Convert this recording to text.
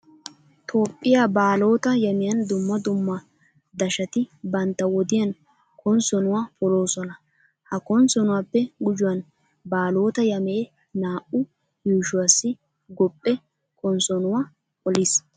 Toophphiya baalotaa yamiyan dumma dumma daashshati bantta wodiyan konssoonuwa poloosona. Ha konssoonuwappe gujuwan baalotaa yamee naa"u yuushuwassi gophphe konssoonuwa poliis.